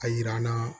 A yira n na